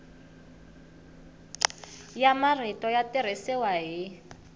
ya marito ya tirhisiwa hi